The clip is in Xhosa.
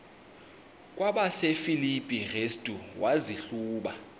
kwabasefilipi restu wazihluba